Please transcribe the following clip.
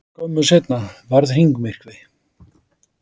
Skömmu seinna varð hringmyrkvi.